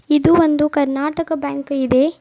ಇದು ಒಂದು ಕರ್ನಾಟಕ ಬ್ಯಾಂಕ್ ಇದೆ.